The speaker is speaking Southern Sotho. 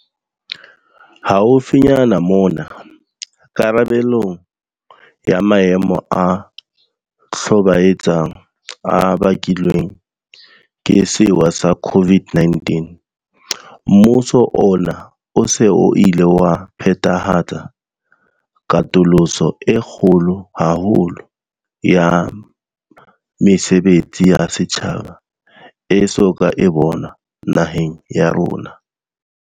Haufinyane mona, karabelong ya maemo a hlobaetsang a bakilweng ke sewa sa COVID-19, mmuso ona o se o ile wa phethahatsa katoloso e kgolo haholo ya mesebetsi ya setjhaba e so ka e bonwa naheng ya rona.